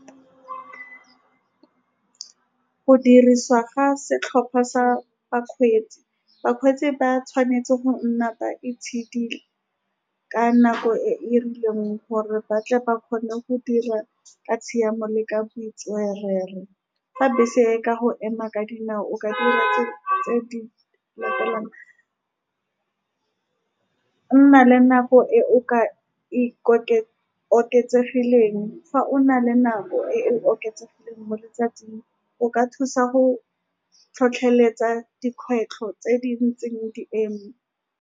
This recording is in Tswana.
Go dirisiwa ga setlhopha sa bakgweetsi, bakgweetsi ba tshwanetse go nna ba itshidila ka nako e e rileng, gore batle ba kgone go dira ka tshiamo le ka botswerere. Fa bese e ka go ema ka dinao, o ka dira tse-tse di . Nna le nako e o ka ikoke, oketsegileng, fa o na le nako e e oketsegileng mo letsatsing, o ka thusa go tlhotlheletsa dikgwetlho tse di ntseng di eme.